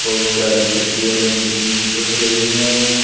बहुत सारी छतरियां रंग बिरंगी टंग रही हैं।